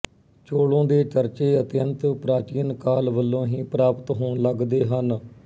ਚੋਲੋਂ ਦੇ ਚਰਚੇ ਅਤਿਅੰਤ ਪ੍ਰਾਚੀਨ ਕਾਲ ਵਲੋਂ ਹੀ ਪ੍ਰਾਪਤ ਹੋਣ ਲੱਗਦੇ ਹਨ